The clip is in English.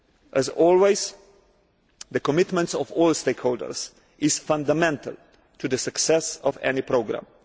As always, the commitment of all stakeholders is fundamental to the success of any programme.